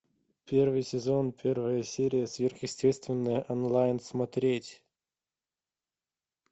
первый сезон первая серия сверхъестественное онлайн смотреть